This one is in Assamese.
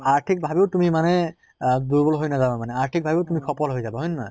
আৰ্থিক ভাবেও তুমি মানে আহ দুৰ্বল হৈ নাযাবা মানে আৰ্থিক ভাবেও তুমি সফল হৈ যাবা, হয় নে নহয়?